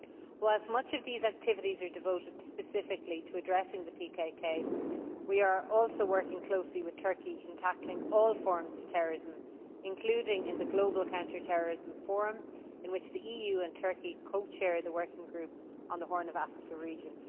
Whilst much of these activities are devoted specifically to addressing the PKK, we are also working closely with Turkey in tackling all forms of terrorism, including in the Global Counter Terrorism Forum in which the EU and Turkey co chair the working group on the Horn of Africa region.